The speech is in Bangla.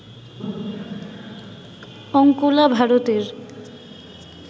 অঙ্কোলা ভারতের